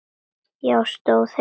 Já, stóð heima!